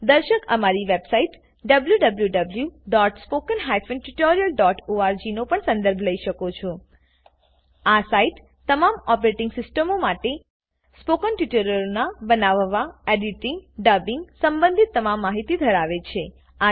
દર્શક અમારી website wwwspoken tutorialorg નો પણ સંદર્ભ લઇ શકે છે આ સાઈટ તમામ ઓપરેટીંગ સિસ્ટમો માટે સ્પોકન ટ્યુટોરીયલોનાં બનાવવા એડીટીંગ ડબિંગ સંબંધિત તમામ માહિતીઓ ધરાવે છે